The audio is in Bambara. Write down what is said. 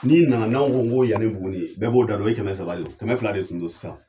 N'i nana n'anw ko ko yan ni Buguni , bɛɛ b'o da don kɛmɛ saba, kɛmɛ fila de dun don .sisan